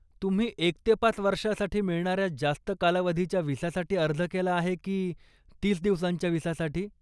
तुम्ही एक ते पाच वर्षासाठी मिळणाऱ्या जास्त कालावधीच्या विसासाठी अर्ज केला आहे की तीस दिवसांच्या विसासाठी?